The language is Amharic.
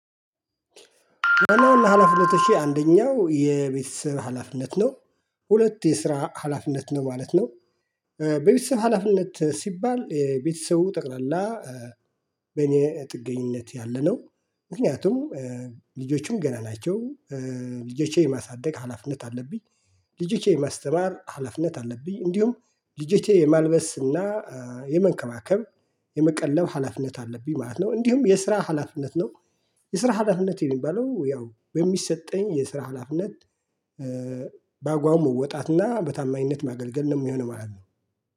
ዋና ዋና ሀላፊነቶቼ አንደኛው የቤተሰብ ሀላፊነት ነው ሁለት የስራ ሀላፊነት ነው ማለት ነው። በቤተሰብ ሀላፊነት ሲባል የቤተሰቡ ጠቅላላ በእኔ ጥገኝነት ያለነው። ምክንያቱም ልጆቹም ገና ናቸው ልጆቼ የማሳደግ ሀላፊነት አለብኝ። ልጆቼ የማስተማር ሀላፊነት አለብኝ እንዲሁም ልጆቼ የማልበስ እና የመንከባከብ የመቀለብ ሀላፊነት አለብኝ ማለት ነው። እንዲሁም የስራ ሀላፊነት ነው። የስራ ሀላፊነት የሚባለው ያው በሚሰጠኝ የስራ ሀላፊነት በአግባቡ መወጣት እና በታማኝነት ማገልገል ነው የሚሆነው ማለት ነው